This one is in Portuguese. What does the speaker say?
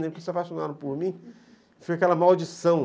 Porque se apaixonaram por mim, foi aquela maldição.